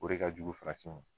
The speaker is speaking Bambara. O re ka jugu farafin ma.